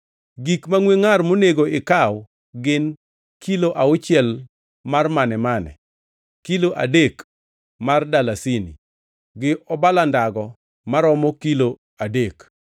“Gik mangʼwe ngʼar monego ikaw gin: kilo auchiel mar mane-mane, kilo adek mar dalasini, gi obala ndago maromo kilo adek,